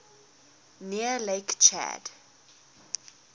near lake chad